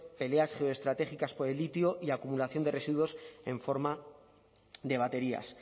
peleas geoestratégicas por el litio y acumulación de residuos en forma de baterías